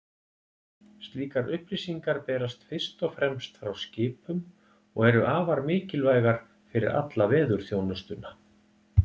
Slíkar upplýsingar berast fyrst og fremst frá skipum og eru afar mikilvægar fyrir alla veðurþjónustuna.